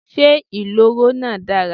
Ṣé ìloro náà dára?